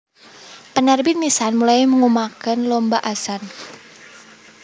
Penerbit Mizan mulai ngumumaken lomba azan